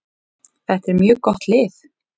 Þetta er mjög gott lið.